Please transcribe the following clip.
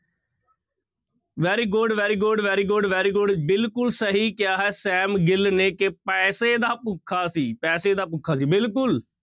Very good, very good, very good, very good ਬਿਲਕੁਲ ਸਹੀ ਕਿਹਾ ਹੈ ਸੈਮ ਗਿੱਲ ਨੇ ਕਿ ਪੈਸੇ ਦਾ ਭੁੱਖ ਸੀ ਪੈਸਾ ਦਾ ਭੁੱਖਾ ਸੀ ਬਿਲਕੁਲ।